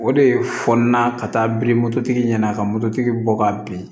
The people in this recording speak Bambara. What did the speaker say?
O de fɔ n na ka taa biri mototigi ɲɛna ka mototigi bɔ ka bin